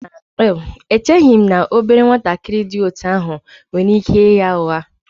Echeghị m na obere nwatakịrị dị otú ahụ nwere ike ịgha ụgha